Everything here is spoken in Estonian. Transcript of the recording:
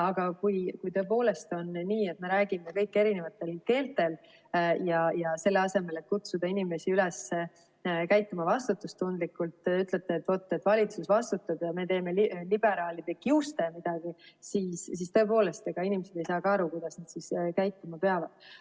Aga kui on nii, et me räägime kõik erinevat keelt ja selle asemel, et kutsuda inimesi üles käituma vastutustundlikult, te ütlete, et vaat, valitsus vastutab ja me teeme liberaalide kiuste midagi, siis tõepoolest, inimesed ei saagi aru, kuidas nad käituma peavad.